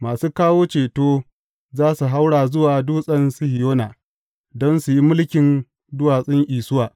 Masu kawo ceto za su haura zuwa Dutsen Sihiyona don su yi mulkin duwatsun Isuwa.